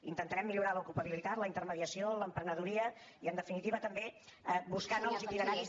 intentarem millorar l’ocupabilitat la intermediació l’emprenedoria i en definitiva també buscar nous itineraris